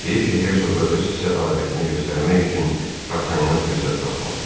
Heyif ki, hersoqa öz sədaqətini göstərmək üçün Dartanyan fürsət tapmadı.